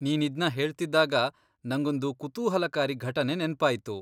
ನೀನಿದ್ನ ಹೇಳ್ತಿದ್ದಾಗ ನಂಗೊಂದು ಕುತೂಹಲಕಾರಿ ಘಟನೆ ನೆನ್ಪಾಯ್ತು.